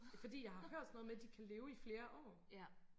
Fordi jeg har hørt sådan noget med de kan leve i flere år